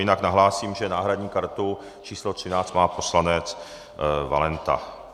Jinak nahlásím, že náhradní kartu číslo 13 má poslanec Valenta.